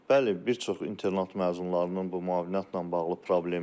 Bəli, bir çox internat məzunlarının bu müavinətlə bağlı problemləri var.